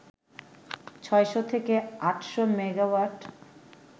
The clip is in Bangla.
৬০০ থেকে ৮০০ মেগাওয়াট